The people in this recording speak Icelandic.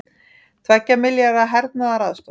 Tveggja milljarða hernaðaraðstoð